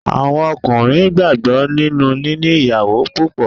Àwọn Ọkùnrin gbàgbọ́ nínú níní ìyàwó púpọ̀.